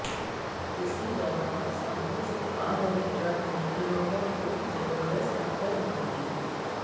इसी दौरान सामने से आ रहे ट्रक ने इनोवा को जबरदस्त टक्कर मार दी